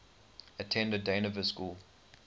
attended dynevor school